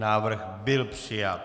Návrh byl přijat.